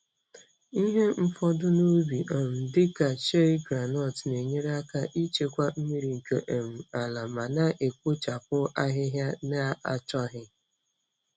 Ihe mfọdu n'ubi um dị ka shei groundnut na-enyere aka ichekwa mmiri nke um ala ma na-ekpochapụ ahịhịa na-achọghị.